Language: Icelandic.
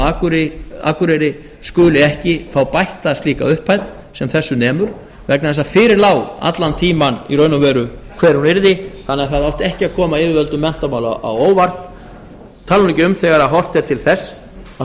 á akureyri skuli ekki fá bætta slíka upphæð sem þessu nemur vegna þess að fyrir lá allan tímann í raun og veru hver hún yrði þannig að það átti ekki að koma yfirvöldum menntamála á óvart ég tala nú ekki um þegar horft er til þess að